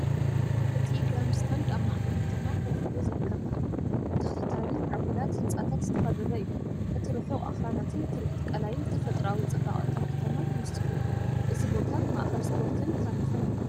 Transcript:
እቲ ግራንድስታንድ ኣብ ማእከል ከተማ ኮፍ ኢሉ ዝርከብ ኮይኑ፡ ብተኸታታሊ ምዕቡላት ህንጻታት ዝተኸበበ እዩ። እቲ ርሑቕ ኣኽራናትን ትርኢት ቀላይን ንተፈጥሮኣዊ ጽባቐ እታ ከተማ ይውስኸሉ። እዚ ቦታ ማእከል ስፖርትን ታሪኽን'ዩ።"